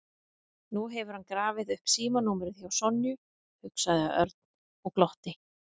Nú hefur hann grafið upp símanúmerið hjá Sonju, hugsaði Örn og glotti.